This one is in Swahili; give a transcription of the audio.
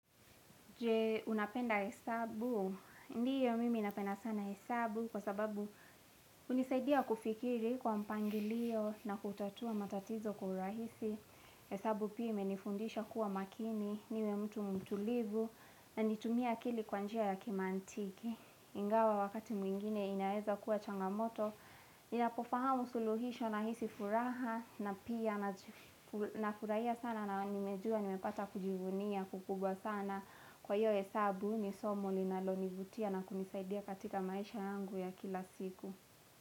Je unapenda hesabu, ndiyo mimi napenda sana hesabu kwa sababu hunisaidia kufikiri kwa mpangilio na kutatua matatizo kwa urahisi. Hesabu pia imenifundisha kuwa makini, niwe mtu mtulivu na nitumie akili kwa njia ya kimaantiki. Ingawa wakati mwingine inaeza kuwa changamoto Ninapofahamu suluhisho na hisi furaha na pia na furahia sana na nimejua nimepata kujivunia kukubwa sana Kwa hiyo hesabu ni somo ninalonivutia na kunisaidia katika maisha yangu ya kila siku.